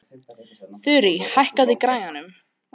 Þurí, hækkaðu í græjunum.